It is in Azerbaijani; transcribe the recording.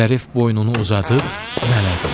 Zərif boynunu uzadıb mələdi.